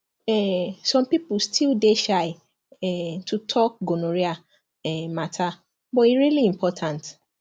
um some people still dey shy um to talk gonorrhea um matter but e really important